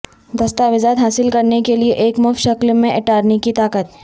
دستاویزات حاصل کرنے کے لئے ایک مفت شکل میں اٹارنی کی طاقت